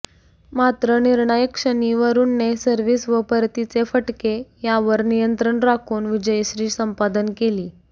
मात्र निर्णायक क्षणी वरूणने सर्व्हिस व परतीचे फटके यावर नियंत्रण राखून विजयश्री संपादन केली